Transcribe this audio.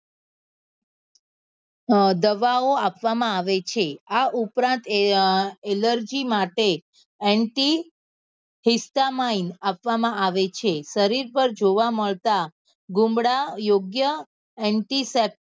અ દવા ઓ આપવા માં આવે છે આ ઉપરાંત એ allergy માટે આપવા માં આવે છે શરીર પર જોવા મળતા ગુમડા યોગ્ય